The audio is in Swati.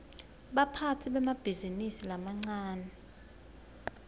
baphatsi bemabhizinisi lamancane